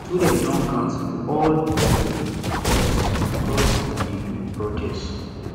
students don cancel all di lecture because because dem dey do protest